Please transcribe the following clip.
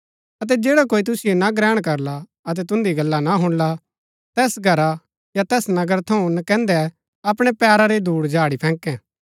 अतै जैडा कोई तुसिओ ना ग्रहण करला अतै तुन्दी गल्ला ना हुणला तैस घरा या तैस नगर थऊँ नकैन्दै अपणै पैरा री धूड झाड़ी फैकैं